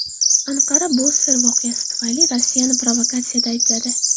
Anqara Bosfor voqeasi tufayli Rossiyani provokatsiyada aybladi.